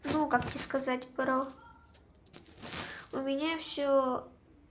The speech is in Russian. ну как тебе сказать бро у меня всё